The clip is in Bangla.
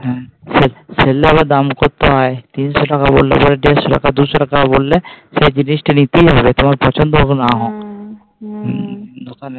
আবার দাম করতে হয়। তিনশো টাকা বললে পরে দেড়শ টাকা দুশ টাকা বললে সেটা জিনিস টা নিতেই হবে। তোমার পছন্দ হোক না হোক।